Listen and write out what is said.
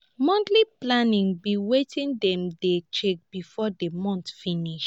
monthly planning be wetin dem dey check before di month finish